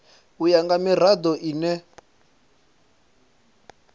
u ya nga mirado ine